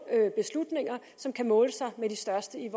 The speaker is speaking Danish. beslutninger som kan måle sig med de største i